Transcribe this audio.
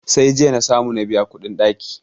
Sai jiya na samu na biya kuɗin ɗaki.